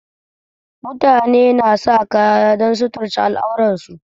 Mutane na sa kaya don suturce al'auransu